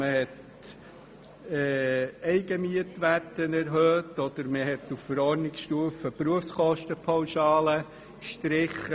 Man hat die Eigenmietwerte erhöht oder auf Verordnungsstufe die Berufskostenpauschale gestrichen.